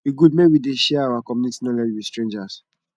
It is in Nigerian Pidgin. e good make we dey share our community knowledge with strangers